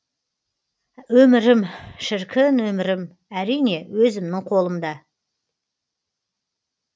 өмірім шіркін өмірім әрине өзімнің қолымда